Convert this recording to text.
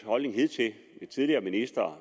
og den tidligere ministers